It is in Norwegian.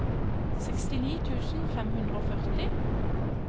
sekstini tusen fem hundre og førti